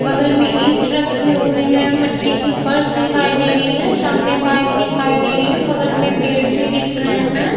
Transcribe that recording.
बगल में ईंट रखी हुई है | मिट्टी की फर्श दिखाई दे रही है | सामने बाइक दिखाई दे रही है | बगल में पेड़ भी दिख रहे हैं ।